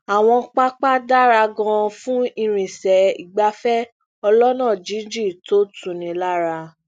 àwọn pápá dára ganan fún ìrìnsẹ igbafẹ ọlọna jinjin to n tuni lara